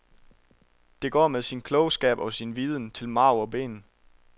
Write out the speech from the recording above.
Denne går med sin klogskab og sin viden til marv og ben.